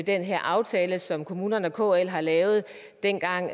den her aftale som kommunerne og kl har lavet dengang